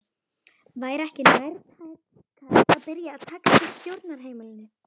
Væri ekki nærtækast að byrja að taka til á stjórnarheimilinu?